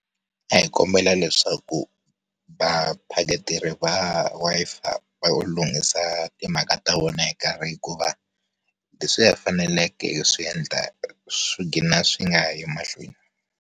A hi kombela leswaku, vaphaketeri va Wi-Fi va lunghisa timhaka ta vona hi nkarhi hikuva, leswiya hi faneleke hi swi endla swi gina swi nga ha yi emahlweni.